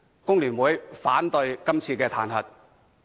工聯會反對今次的彈劾。